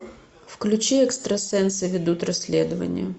включи экстрасенсы ведут расследование